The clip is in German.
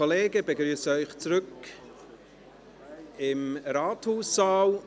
Ich begrüsse Sie zurück im Rathaussaal.